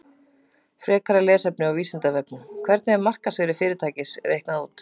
Frekara lesefni á Vísindavefnum: Hvernig er markaðsvirði fyrirtækis reiknað út?